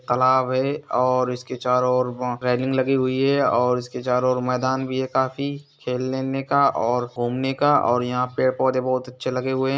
तालाब है और इसके चारों ओर रैलिंग लगी हुई है और इसके चारों ओर मैदान भी है काफी खेलने उलने के और घूमने का और यहाँ पेड़ पौधे बहुत अच्छे लगे हुए है ।